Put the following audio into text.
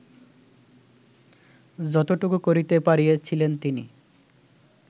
যতটুকু করিতে পারিয়াছিলেন তিনি